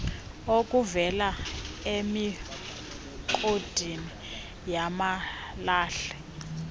okuvela emigodini yamalahle